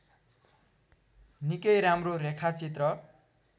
निकै राम्रो रेखाचित्र